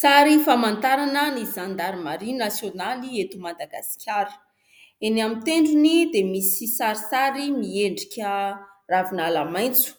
Sary famantarana ny zandarimaria nasionaly eto Madagasikara, eny amin'ny tendrony dia misy sarisary miendrika ravinala maitso